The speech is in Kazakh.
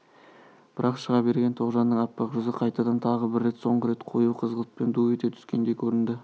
бірақ шыға берген тоғжанның аппақ жүзі қайтадан тағы бір рет соңғы рет қою қызғылтпен ду ете түскендей көрінді